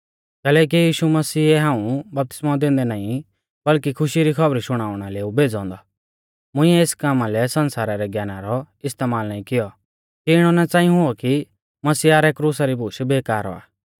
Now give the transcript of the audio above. कैलैकि यीशु मसीहै हाऊं बपतिस्मौ दैंदै नाईं बल्कि खुशी री खौबरी शुणाउणा लै ऊ भेज़ौ औन्दौ मुइंऐ एस कामा लै संसारा रै ज्ञाना रौ इस्तेमाल नाईं कियौ कि इणौ ना च़ांई हुऔ कि मसीहा रै क्रुसा री बूश बेकार औआ